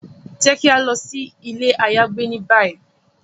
Jẹ ki a lọ si ile ayagbe ni bayi!